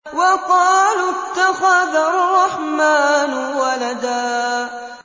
وَقَالُوا اتَّخَذَ الرَّحْمَٰنُ وَلَدًا